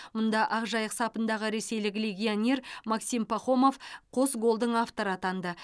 мұнда ақжайық сапындағы ресейлік легионер максим пахомов қос голдың авторы атанды